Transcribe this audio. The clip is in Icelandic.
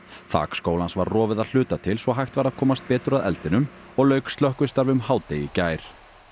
þak skólans var rofið að hluta til svo hægt væri að komast betur að eldinum og lauk slökkvistarfi um hádegi í gær